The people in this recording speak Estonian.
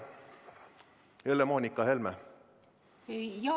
Helle-Moonika Helme, palun!